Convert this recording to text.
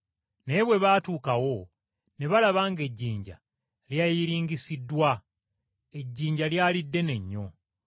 Naye bwe baatuukawo, ne balaba ng’ejjinja lyayiringisiddwa. Ejjinja lyali ddene nnyo.